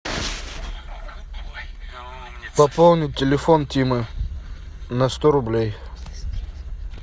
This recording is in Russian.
пополни телефон тимы на сто рублей